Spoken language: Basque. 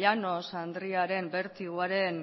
llanos andrearen bertigoaren